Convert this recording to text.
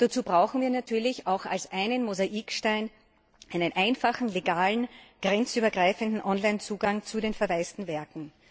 Und dazu brauchen wir natürlich auch als einen Mosaikstein einen einfachen legalen, grenzübergreifenden Online Zugang zu den verwaisten Werken.